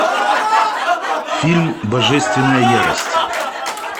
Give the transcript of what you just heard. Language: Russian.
фильм божественная ярость